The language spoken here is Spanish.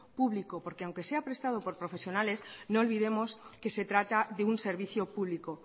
público porque aunque sea prestado por profesionales no olvidemos que se trata de un servicio público